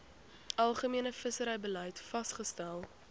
algemene visserybeleid vasgestel